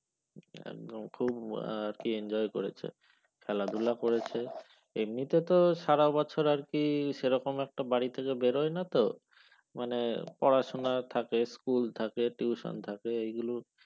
একদম খুব আর কি enjoy করেছে খেলাধুলা করেছে এমনিতে তো সারা বছর আর কি সেরকম একটা বাড়ি থেকে বেরোয় না তো মানে পড়াশোনা থাকে স্কুল থাকে টিউশন থাকে এগুলো